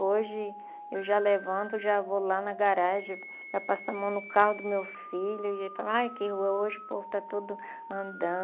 Hoje, eu já levanto, já vou lá na garagem, já passo a mão no carro do meu filho e falo, ai, que rua hoje povo, está tudo